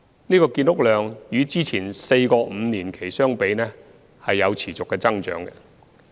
此建屋量與之前4個五年期相比，見持續增長。